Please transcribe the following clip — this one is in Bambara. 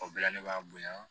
O bɛɛ la ne b'a bonya